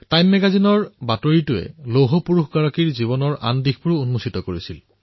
time মেগাজিনৰ খবৰত লৌহ পুৰুষজনৰ জীৱনৰ আন এটা দিশো প্ৰকাশিত হৈছিল